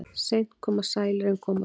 Seint koma sælir en koma þó.